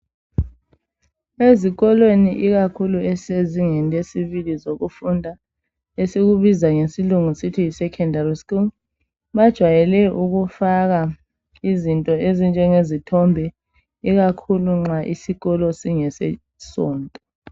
Ezikolweni ikakhulu esisezingeni lesibili lokufunda . Esikubiza ngesilungu sithi yi Secondary school bajwayele ukufaka izinto ezinjenge zithombe ikakhulu nxa isikolo singesesonto.